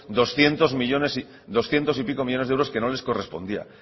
doscientos y pico millónes de euros que no les correspondían